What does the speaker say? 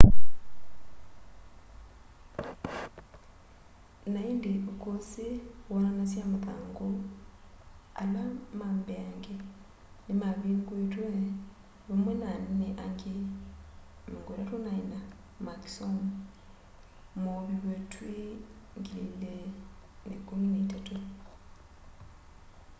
na indi ukusi woonanasye mathangu ala ma mbeangeni nimavinguitwe vamwe na anene angi 34 ma kisomo mooviwe twi 2013